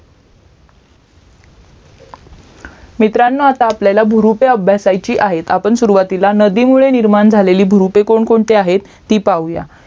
मित्रांनो आता आपल्याला भुरुपे अभ्यासायची आहेत आपण सुरूवातीला नदीमुळे निर्माण झालेली भुरुपे कोण कोणती आहेत ती पाहूया